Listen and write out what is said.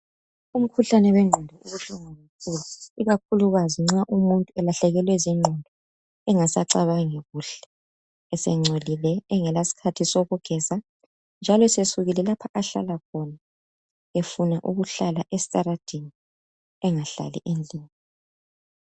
Umkhuhlane wengqondo ubuhlungu kakhulu ikakhulukazi nxa umuntu selahlekelwe zingqondo engasacabangi kuhle esengcolile engela sikhathi sokugeza njalo sesukile lapho ahlala khona efuna ukuhlala esitaradeni engahlali endlini.